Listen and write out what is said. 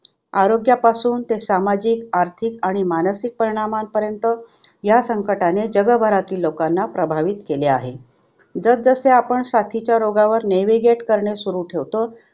आरोग्यापासून ते सामाजिक, आर्थिक आणि मानसिक परिणामांपर्यंत ह्या संकटाने जगभरातील लोकांना प्रभावित केले आहे. जसजसे आपण साथीच्या रोगावर नेवीगेट करणे सुरू ठेवतो